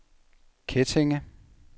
Kettinge